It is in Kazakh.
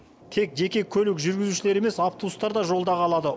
тек жеке көлік жүргізушілері емес автобустар да жолда қалады